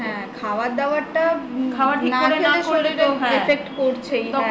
হা খাওয়ার দাওয়াটাতো শরীরে infect করছেই